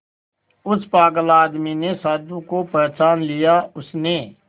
उस पागल आदमी ने साधु को पहचान लिया उसने